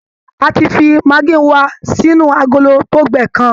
A ti fi maggi wa sínú agolo tó gbẹ kan